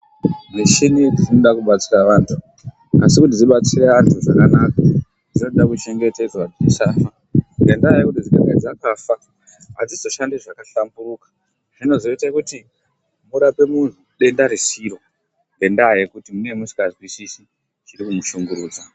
Michini dzinoda kubatsira andu. Asi kuti dzinatsire andu zvakanaka, dzinoda kuchengetedzwa dzisafa, ngenda yekuti kana dzikafa adzizoshandi zvakahlamburuka. Zvinozoita kuti worapa mundu denda risiro ngenda yekuti munenge musinganzwisisi chiri kumushungurudza.